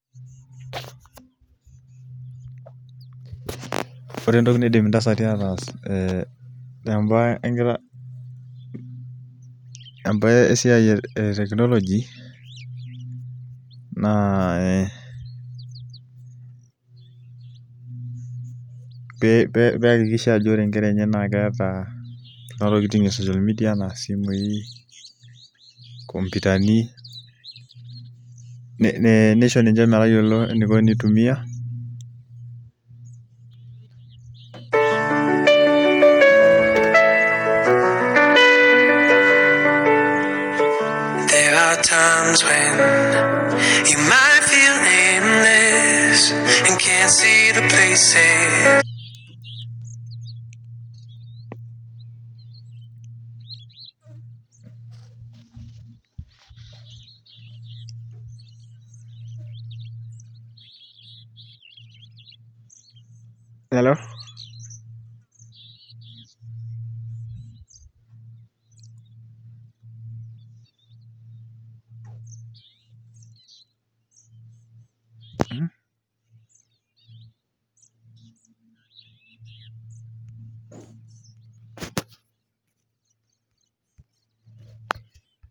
Ore entoki naidim intasati ataas tembae esiai e teknoloji naa ee peakikisha ajo ore inkera enye naa keeta kuna tokiting e socialmedia ena isimui inkompyutani neisho ninche metayiolo eniko enitumia Elo